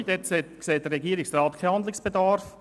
Zu Ziffer 2 sieht der Regierungsrat keinen Handlungsbedarf.